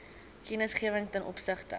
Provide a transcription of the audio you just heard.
kennisgewing ten opsigte